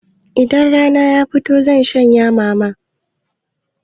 Idan rana ya fito zan shanyashi mama.